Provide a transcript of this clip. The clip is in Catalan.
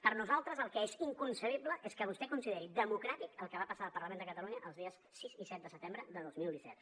per nosaltres el que és inconcebible és que vostè consideri democràtic el que va passar al parlament de catalunya els dies sis i set de setembre de dos mil disset